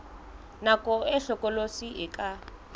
nako e hlokolosi e ka